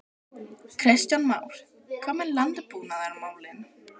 Kristján Már: Hvað með landbúnaðarmálin?